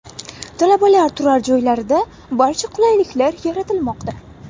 Talabalar turar joylarida barcha qulayliklar yaratilmoqda.